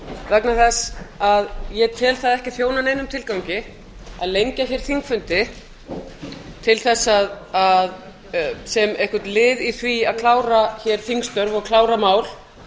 vegna þess að ég tel það ekki þjóna neinum tilgangi að lengja hér þingfundi sem einhvern lið í því að klára hér þingstörf og klára mál